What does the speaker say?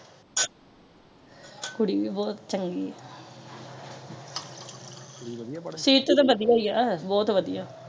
ਕੁੜੀ ਵੀ ਬਹੁਤ ਚੰਗੀ ਆ ਕੁੜੀ ਵਧਿਆ ਪੜਣ ਚ ਸੀਰਤ ਤੋਂ ਤੇ ਵਧਿਆ ਏ ਆ ਬਹੁਤ ਵਧਿਆ ਏ